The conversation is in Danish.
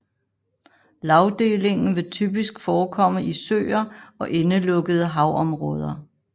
Lagdelingen vil typisk forekomme i søer og indelukkede havområder